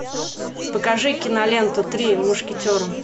покажи киноленту три мушкетера